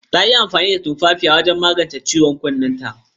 Ta yi amfani da tumfafiya don magance ciwon kunnenta.